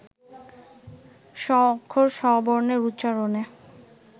ষ অক্ষর, শ বর্ণের উচ্চারণে